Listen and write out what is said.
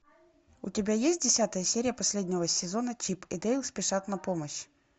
у тебя есть десятая серия последнего сезона чип и дейл спешат на помощь